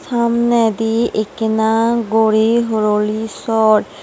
samneydi ekkena gori horoli sor.